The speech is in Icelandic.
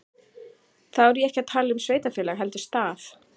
Þá er ég ekki að tala um sveitarfélag heldur stað.